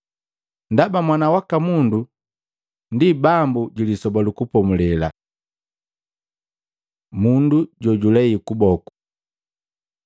Ndaba Mwana waka Mundu ndi Bambu ju Lisoba lu Kupomulela.” Mundu jojulei kuboku Maluko 3:1-6; Luka 6:6-11